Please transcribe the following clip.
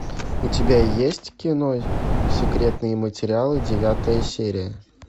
у тебя есть кино секретные материалы девятая серия